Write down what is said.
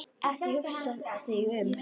Ekki hugsa þig um.